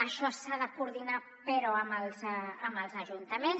això s’ha de coordinar però amb els ajuntaments